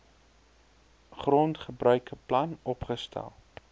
grondgebruike plan opgestel